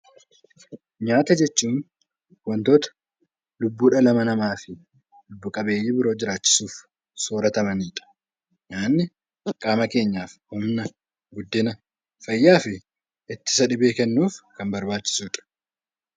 Nyaata jechuun wantoota lubbuu dhala namaa fi lubbu qabeeyyii biroo jiraachisuuf sooratamani dha. Nyaanni qaama keenyaaf humna, guddinaa, fayyaa fi ittisa dhibee kennuuf kan barbaachisu dha.